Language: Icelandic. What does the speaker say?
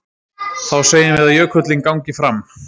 Þá segjum við að jökullinn gangi fram.